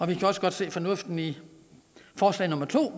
vi kan også godt se fornuften i forslag nummer to